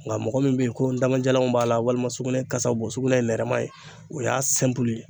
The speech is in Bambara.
Nka mɔgɔ min bɛ ye ko n damajalan b'a la walima sugunɛ kasa bi bɔ sugunɛ ye nɛrɛma ye o y'a ye.